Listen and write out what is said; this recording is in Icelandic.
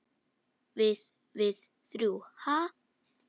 Við- við þrjú, ha?